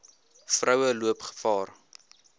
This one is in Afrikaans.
vroue loop gevaar